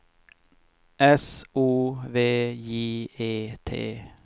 S O V J E T